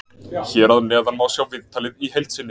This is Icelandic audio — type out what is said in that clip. Hér að neðan má sjá viðtalið í heild sinni.